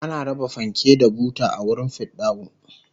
ana raba fanke da buta a wurin fidda'u